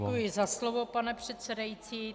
Děkuji za slovo, pane předsedající.